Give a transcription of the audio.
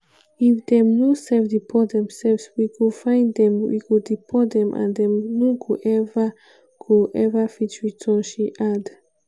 "if dem no self deport themselves we go find dem we go deport dem and dem no go ever go ever fit return" she add.